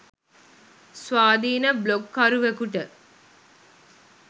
ස්වාධීන බ්ලොග්කරුවෙකුට